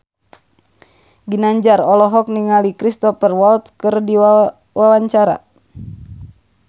Ginanjar olohok ningali Cristhoper Waltz keur diwawancara